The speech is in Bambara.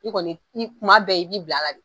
I kɔni i kuma bɛɛ i b'i bil'a la de